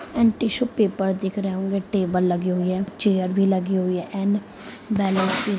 And tissue paper दिख रहे होंगे। टेबल लगे हुए है चेयर भी लगे हुए है एण्ड बलूनस भी --